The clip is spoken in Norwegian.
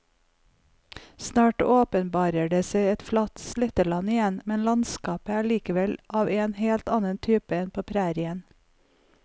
Snart åpenbarer det seg et flatt sletteland igjen, men landskapet er likevel av en helt annen type enn på prærien.